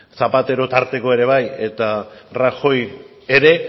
zapatero tarteko ere bai eta rajoy ere